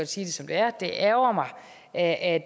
sige det som det er det ærgrer mig at at